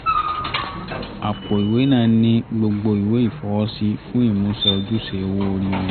àpò ìwé náà ní gbogbo ìwé ìfọwọ́sí fún ìmúṣẹ ojúṣe owó ori wọn